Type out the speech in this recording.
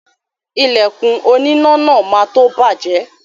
Ìlẹ̀kùn oníná náà má tó bàjẹ́